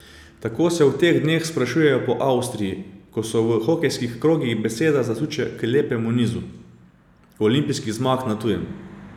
Tako se v teh dneh sprašujejo po Avstriji, ko se v hokejskih krogih beseda zasuče k lepemu nizu Olimpijinih zmag na tujem.